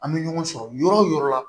An bɛ ɲɔgɔn sɔrɔ yɔrɔ o yɔrɔ la